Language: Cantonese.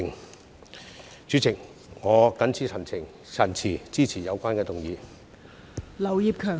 代理主席，我謹此陳辭，支持《2021年公職條例草案》。